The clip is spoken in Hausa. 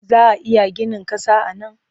Za a iya ginin ƙasa a nan?